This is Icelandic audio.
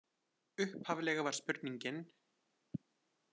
Upphaflega var spurningin: